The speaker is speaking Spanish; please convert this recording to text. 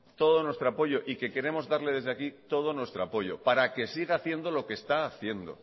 todo nuestro apoyo y que queremos darle desde aquí todo nuestro apoyo para que siga haciendo lo que está haciendo